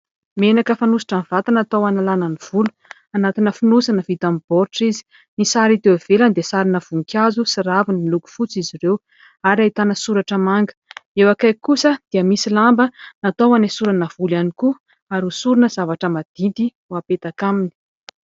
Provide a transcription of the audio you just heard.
Menaka fanositra amin'ny vatana natao hanalana ny volo. Anatina fonosana vita amin'ny baoritra izy. Ny sary hita ety ivelany dia sarina voninkazo sy raviny miloko fotsy izy ireo ary ahitana soratra manga ; eo akaiky kosa dia misy lamba natao anesorana volo ihany koa ary hosorana zavatra madity no apetaka aminy.